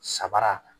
Sabara